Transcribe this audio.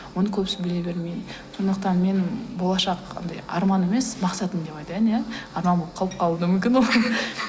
оны көбісі біле бермейді сондықтан мен болашақ анадай арман емес мақсатым деп айтайын иә арман болып қалып қалуы да мүмкін ол